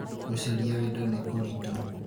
gũcaria wendo nĩ kũrĩtũ